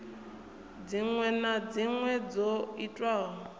dziṅwe na dziṅwe dzo itwaho